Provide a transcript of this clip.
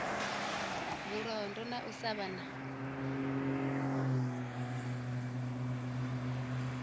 vhulondo na u sa vha